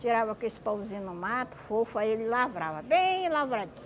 Tirava com esse pauzinho no mato, fofo, aí ele lavrava, bem